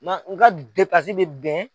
Nka n ka bɛ bɛn